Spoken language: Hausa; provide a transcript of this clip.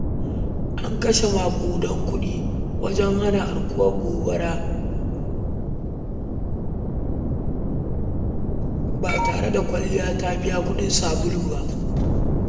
An kashe maƙudan kuɗi wajen hana aukuwar gobarar ba tare da kwalliya ta biya kuɗin sabulu ba.